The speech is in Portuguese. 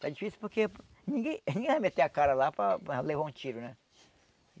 Está difícil porque ninguém ninguém vai meter a cara lá para para levar um tiro, né?